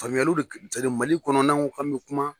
Famuyali de Mali kɔnɔ na ka me kuma.